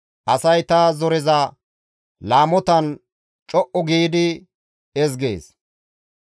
Asay ta zoreza laamotan co7u giidi ezgees.